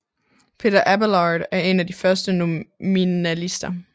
Peter Abelard er en af de første nominalister